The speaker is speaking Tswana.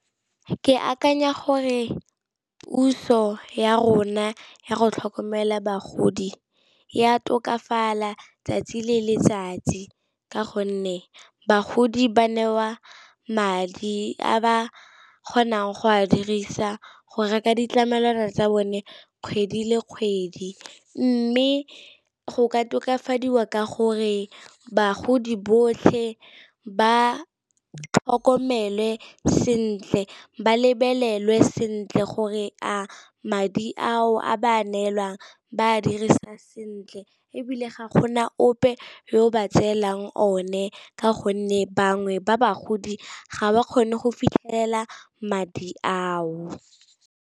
Ke akanya gore puso ya rona ya go tlhokomela bagodi e a tokafala 'tsatsi le letsatsi ka gonne bagodi ba newa madi a ba kgonang go a dirisa go reka ditlamelwana tsa bone kgwedi le kgwedi, mme go ka tokafadiwa ka gore bagodi botlhe ba tlhokomele sentle ba lebelelwe sentle gore a madi ao a ba a neelwang ba a dirisa sentle, ebile ga gona ope yo ba tseelang o ne ka gonne bangwe ba bagodi ga ba kgone go fitlhelela madi ao.